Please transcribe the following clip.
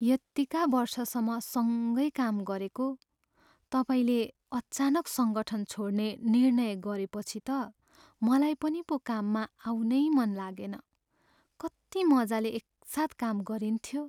यतिका वर्षसम्म सँगै काम गरेको, तपाईँले अचानक सङ्गठन छोड्ने निर्णय गरेपछि त मलाई पनि पो काममा आउनै मन लागेन। कति मजाले एकसाथ काम गरिन्थ्यो!